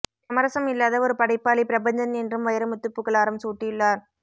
சமரசம் இல்லாத ஒரு படைப்பாளி பிரபஞ்சன் என்றும் வைரமுத்து புகழாரம் சூட்டியுள்ளார்